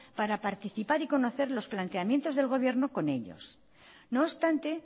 para participar y conocer los planteamientos del gobierno con ellos no obstante